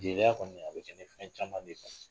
jeliya kɔni a be kɛ ni fɛn caman b'i kan.